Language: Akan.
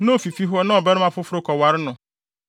na ofi fi hɔ na ɔbarima foforo kɔware no,